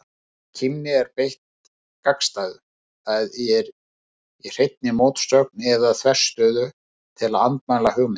Í kímni er beitt gagnstæðu, það er hreinni mótsögn eða þverstæðu, til að andmæla hugmynd.